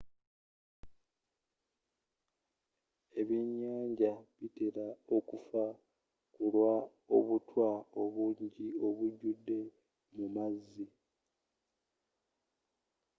ebyennyanja bitera okufa kulwa obutwa obungi obujjude mu maazi